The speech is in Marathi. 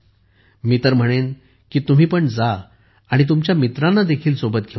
मी तर म्हणेन की तुम्ही पण जा आणि तुमच्या मित्रांनादेखील सोबत घेऊन जा